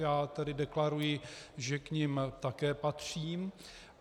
Já tedy deklaruji, že k nim také patřím.